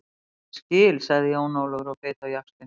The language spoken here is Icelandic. Ég skil, sagði Jón Ólafur og beit á jaxlinn.